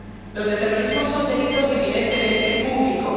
Los de terrorismo son delitos eminentemente públicos.